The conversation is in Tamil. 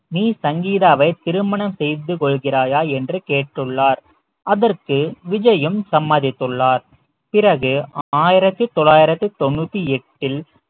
நீ சங்கீதாவை திருமணம் செய்து கொள்கிறாயா என்று கேட்டுள்ளார் அதற்கு விஜயும் சம்மதித்துள்ளார் பிறகு ஆயிரத்தி தொள்ளாயிரத்தி தொண்ணூத்தி எட்டில்